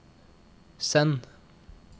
send